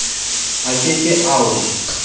a ke ke a o